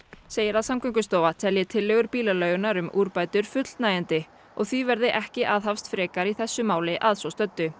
segir að Samgöngustofa telji tillögur bílaleigunnar um úrbætur fullnægjandi og því verði ekki aðhafst frekar í þessu máli að svo stöddu